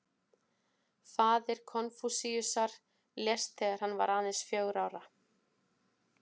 Faðir Konfúsíusar lést þegar hann var aðeins fjögurra ára.